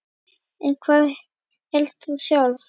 En hvað hélst þú sjálf?